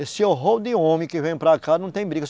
Esse horror de homem que vem para cá e não tem briga.